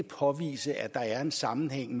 påvise at der er en sammenhæng